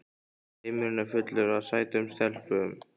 Heimurinn er fullur af sætum stelpum!